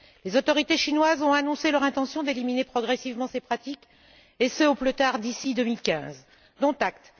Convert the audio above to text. Les autorités chinoises ont annoncé leur intention d'éliminer progressivement ces pratiques, et ce au plus tard d'ici 2015, dont acte.